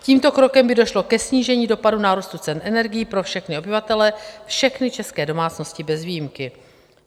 Tímto krokem by došlo ke snížení dopadu nárůstu cen energií pro všechny obyvatele, všechny české domácnosti bez výjimky.